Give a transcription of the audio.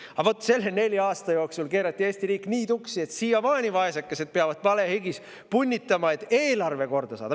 Aga vot selle nelja aasta jooksul keerati Eesti riik nii tuksi, et siiamaani peavad vaesekesed palehigis punnitama, et eelarve korda saada.